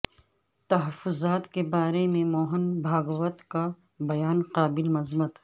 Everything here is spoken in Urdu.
تحفظات کے بارے میں موہن بھاگوت کا بیان قابل مذمت